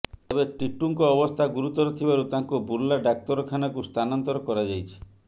ତେବେ ଟିଟୁଙ୍କ ଅବସ୍ଥା ଗୁରୁତର ଥିବାରୁ ତାଙ୍କୁ ବୁର୍ଲା ଡାକ୍ତରଖାନାକୁ ସ୍ଥାନାନ୍ତର କରାଯାଇଛି